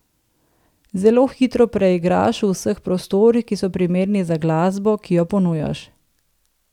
Zelo hitro preigraš v vseh prostorih, ki so primerni za glasbo, ki jo ponujaš.